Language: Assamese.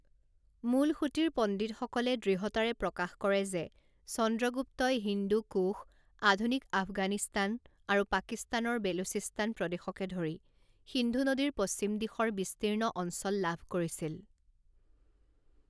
মূলসুঁতিৰ পণ্ডিতসকলে দৃঢ়তাৰে প্ৰকাশ কৰে যে চন্দ্ৰগুপ্তই হিন্দু কুশ, আধুনিক আফগানিস্তান আৰু পাকিস্তানৰ বেলুচিস্তান প্ৰদেশকে ধৰি সিন্ধু নদীৰ পশ্চিম দিশৰ বিস্তীৰ্ণ অঞ্চল লাভ কৰিছিল।